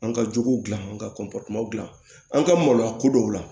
An ka jogow gilan an ka dilan an ka maloya ko dɔw la